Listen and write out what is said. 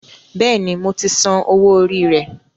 Bẹ́ẹ̀ni, mo ti san owó orí rẹ